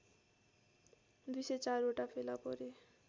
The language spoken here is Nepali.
१०४ वटा फेला परे